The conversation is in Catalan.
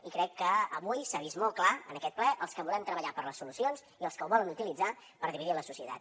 i crec que avui s’ha vist molt clar en aquest ple els que volem treballar per les solucions i els que ho volen utilitzar per dividir la societat